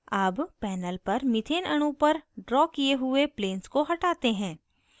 अब panel पर methane अणु पर drawn किये हुए planes को हटाते हैं